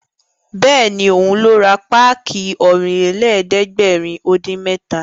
Bẹ́ẹ̀ni, òun ló ra páàkì Ọ̀rìnlélẹ̀ẹ́dẹ́gbèrin-dín-mẹ́ta